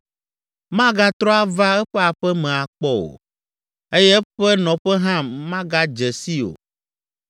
Magatrɔ ava eƒe aƒe me akpɔ o, eye eƒe nɔƒe hã magadze sii o.